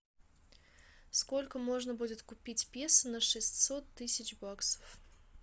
сколько можно будет купить песо на шестьсот тысяч баксов